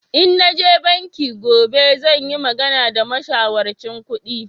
In naje banki gobe zan yi magana da mashawarcin kudi